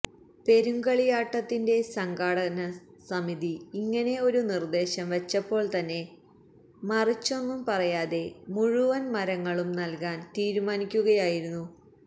പെരുങ്കളിയാട്ടത്തിന്റെ സംഘാടക സമിതി ഇങ്ങനെ ഒരു നിർദേശം വച്ചപ്പോൾത്തന്നെ മറിച്ചൊന്നും പറയാതെ മുഴുവൻ മരങ്ങളും നല്കാൻ തീരുമാനിക്കുകയായിരുന്നു